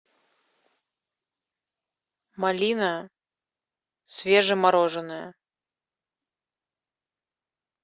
малина свежемороженная